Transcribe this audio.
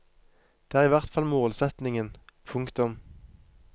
Det er i hvert fall målsetningen. punktum